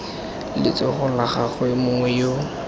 letsogong la gagwe mongwe yo